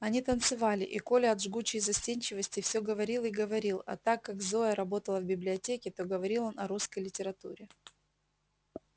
они танцевали и коля от жгучей застенчивости всё говорил и говорил а так как зоя работала в библиотеке то говорил он о русской литературе